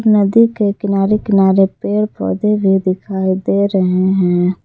नदी के किनारे किनारे पेड़ पौधे भी दिखाई दे रहे हैं।